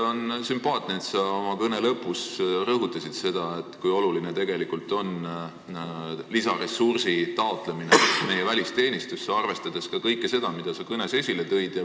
On sümpaatne, et sa oma kõne lõpus rõhutasid seda, kui oluline on lisaressursi taotlemine meie välisteenistusse, arvestades ka kõike seda, mida sa kõnes esile tõid.